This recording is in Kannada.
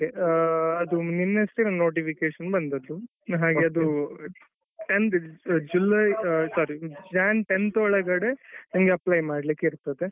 ಹಾ ಅದು ನೆನ್ನೆ ಅಷ್ಟೇnotification ಬಂದದ್ದು ಹಾಗೆ ಅದು ಜುಲೈ sorry Jan tenth ಒಳಗಡೆ apply ಮಾಡ್ಲಿಕ್ಕ್ ಇರ್ತದೆ.